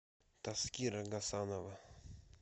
таскира гасанова